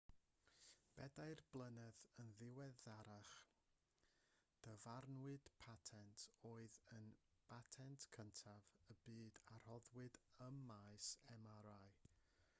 bedair blynedd yn ddiweddarach dyfarnwyd patent oedd yn batent cyntaf y byd a roddwyd ym maes mri